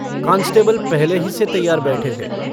Constable पहले ही से तैयार बैठे थे।